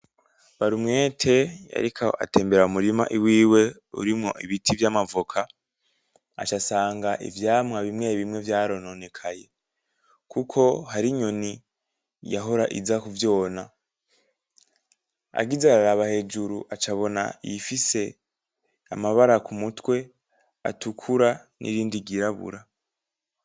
Barumwete yariko atembera mu murima wiwe urimwo ibiti vy'amavoka, aca asanga ivyamwa bimwe bimwe vyarononekaye, kuko hari inyoni yahora iza kuvyona. Agize araraba hejuru aca abona iyifise amabara, ku mutwe, atukura n'irindi ryirabura.